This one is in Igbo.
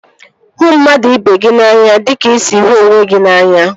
Hụ mmadụ ibe gị n'anya dịka ị sị hụ onwe gị n'anya